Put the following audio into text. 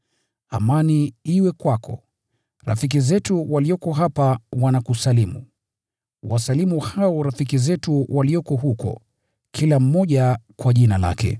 Amani iwe kwako. Rafiki zetu walioko hapa wanakusalimu. Wasalimu hao rafiki zetu walioko huko, kila mmoja kwa jina lake.